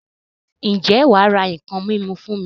Ǹjẹ́ wà á ra nǹkan mímu fún mi?